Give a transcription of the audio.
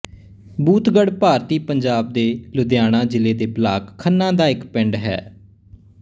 ਬੂਥਗੜ ਭਾਰਤੀ ਪੰਜਾਬ ਦੇ ਲੁਧਿਆਣਾ ਜ਼ਿਲ੍ਹੇ ਦੇ ਬਲਾਕ ਖੰਨਾ ਦਾ ਇੱਕ ਪਿੰਡ ਹੈ